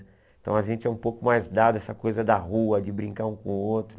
Então a gente é um pouco mais dado essa coisa da rua, de brincar um com o outro.